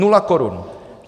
Nula korun!